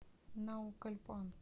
наукальпан